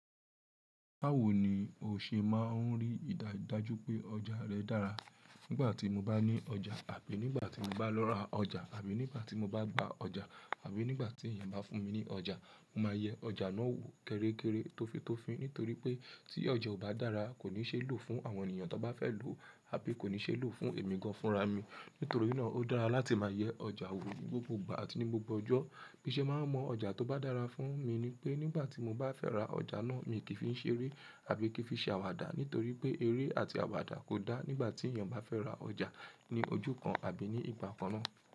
Báwo ni o ṣe máa ń rí ìdájú pé ọjà rẹ dára? Nígbà tí mo bá ní ọjà àbí nígbà tí mo bá lọ ra ọjà àbí nígbà tí mo bá gba ọjà àbí nígbà tí èèyàn bá fún mi ní ọjà, mo máa yẹ ọjà náà wò kéré kéré, tọ́fi tọ́fin nítorí pé tí ọjà ò bá dára, kò ní ṣe ló fún àwọn ènìyàn tó bá fẹ́ lòó àbí kò ní ṣe ló fún èmi gan-an fúnra mi. Nítorí náà ó dára láti máa yẹ ọjà wò gbogbo ìgbà àti ní gbogbo ọjọ́. Bí ṣe máa ń mọ ọjà tó bá dára fún mi nípé nígbà tí mo bá fẹ́ ra ọjà ná mi kì fi ṣeré àbí kin fi ṣe àwàdà nítorí pé eré àti àwàdà kò dá nígbà tí èyàn bá fẹ́ ra ọjà ní ojú kan àbí ní ìgbà kanná.